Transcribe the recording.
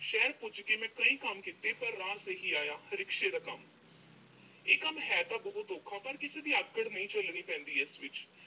ਸ਼ਹਿਰ ਪੁੱਜ ਕੇ ਮੈਂ ਕਈ ਕੰਮ ਕੀਤੇ, ਪਰ ਰਾਸ ਇਹੀ ਆਇਆ, rickshaw ਦਾ ਕੰਮ। ਇਹ ਕੰਮ ਹੈ ਤਾਂ ਬਹੁਤ ਔਖਾ, ਪਰ ਕਿਸੇ ਦੀ ਆਕੜ ਨਹੀਂ ਝੱਲਣੀ ਪੈਂਦੀ ਇਸ ਵਿੱਚ